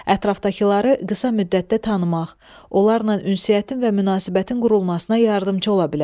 Ətrafdakıları qısa müddətdə tanımaq, onlarla ünsiyyətin və münasibətin qurulmasına yardımçı ola bilər.